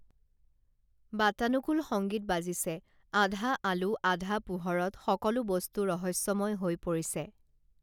বাতানুকূল সংগীত বাজিছে আধা আলো আধা পোহৰত সকলো বস্তু ৰহস্যময় হৈ পৰিছে